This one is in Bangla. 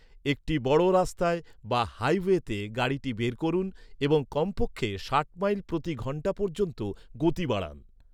একটি বড় রাস্তায় বা হাইওয়েতে গাড়িটি বের করুন এবং কমপক্ষে ষাট মাইল প্রতি ঘণ্টা পর্যন্ত গতি বাড়ান।